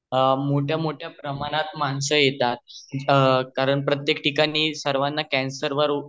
मोठ्या मोठ्या प्रमाणात माणस येतात कारण प्रत्येक ठिकणी सर्वाना कैंसर वर